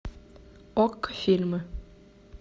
окко фильмы